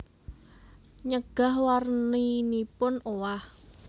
Nyegah warninipun owah